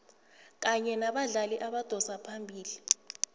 kanye nabadlali abadosa phambili